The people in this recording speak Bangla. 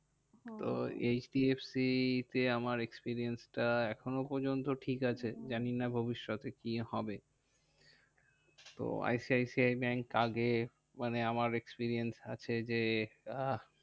তো এই এইচ ডি এফ সি তে আমার experience টা এখনো পর্যন্ত ঠিক আছে। জানি না ভবিষ্যতে কি হবে? তো I C I C I bank আগে মানে আমার experience আছে যে আহ